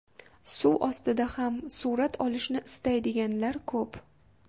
Suv ostida ham surat olishni istaydiganlar ko‘p.